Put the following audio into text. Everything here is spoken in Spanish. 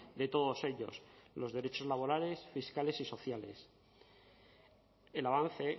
de todos ellos los derechos laborales fiscales y sociales el avance